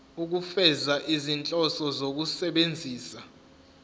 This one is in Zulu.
ukufeza izinhloso zokusebenzisa